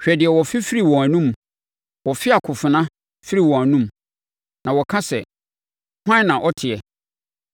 Hwɛ deɛ wɔfe firi wɔn anomu, wɔfe akofena firi wɔn anomu na wɔka sɛ: “Hwan na ɔteɛ”?